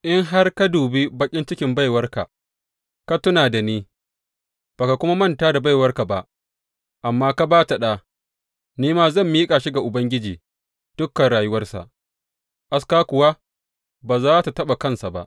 In har ka dubi baƙin cikin baiwarka, ka tuna da ni, ba ka kuma manta da baiwarka ba, amma ka ba ta ɗa, ni ma zan miƙa shi ga Ubangiji dukan rayuwarsa, aska kuwa ba za tă taɓa kansa ba.